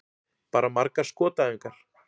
Bara margar skotæfingar.